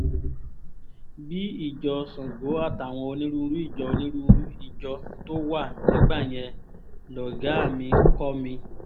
bíi ìjọ sango àtàwọn onírúurú ìjọ onírúurú ìjọ tó wà nígbà yẹn lọ́gàá mi kọ́ mi